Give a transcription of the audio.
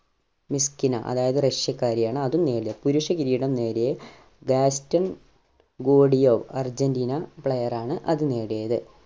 മിസ്‌കിന അതായത് റഷ്യക്കാരി ആണ് അതും നേടിയത് പുരുഷ കിരീടം നേടിയേ ബാസ്‌റ്റൻ ഗോഡിയോ അർജന്റീന player ആണ് അത് നേടിയത്